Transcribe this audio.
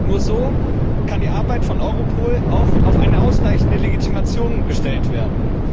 Nur so kann die Arbeit von Europol auch auf eine ausreichende Legitimationsgrundlage gestellt werden.